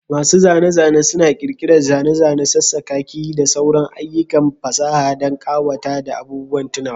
Masu zane-zane suna ƙirƙirar zane-zane, sassakaki, da sauran ayyukan fasaha don ƙawata da abubuwan tunawa.